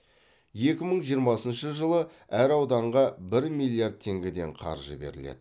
екі мың жиырмасыншы жылы әр ауданға бір миллиард теңгеден қаржы беріледі